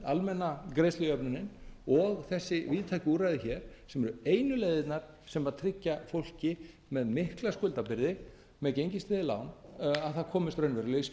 almenna greiðslujöfnunin og þessi víðtæku úrræði hér sem eru einu leiðirnar sem tryggja fólki með mikla skuldabyrði með gengistryggð lán að það komist raunverulega